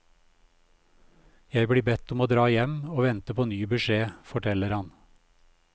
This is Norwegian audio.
Jeg blir bedt om å dra hjem og vente på ny beskjed, forteller han.